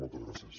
moltes gràcies